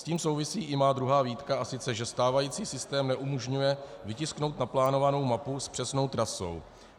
S tím souvisí i moje druhá výtka, a sice že stávající systém neumožňuje vytisknout naplánovanou mapu s přesnou trasou.